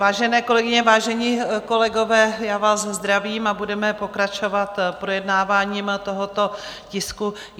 Vážené kolegyně, vážení kolegové, já vás zdravím a budeme pokračovat projednáváním tohoto tisku.